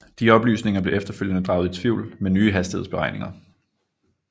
De oplysninger blev efterfølgende draget i tvivl med nye hastighedsberegninger